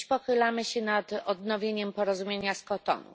Dziś pochylamy się nad odnowieniem porozumienia z Kotonu.